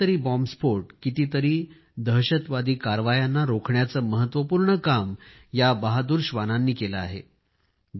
कितीतरी बॉम्बस्फोटांना कितीतरी दहशतवादी कारवायांना रोखण्याचे महत्वपूर्ण काम या बहादूर श्वानांनी केले आहे